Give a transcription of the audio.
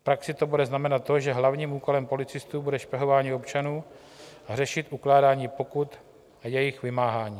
V praxi to bude znamenat to, že hlavním úkolem policistů bude špehování občanů a řešit ukládání pokut a jejich vymáhání.